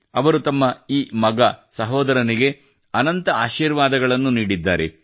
ಅವರು ತಮ್ಮ ಈ ಮಗ ಸಹೋದರನಿಗೆ ಅನಂತ ಆಶೀರ್ವಾದಗಳನ್ನು ನೀಡಿದ್ದಾರೆ